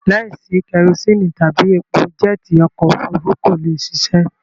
Láìsí kẹrosíínì tàbí epo jẹ́ẹ́tì okọ̀-òfurufú kò lè ṣiṣẹ́.